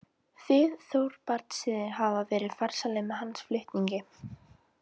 Þið Þorbrandssynir hafið verið farsælir með hans fulltingi.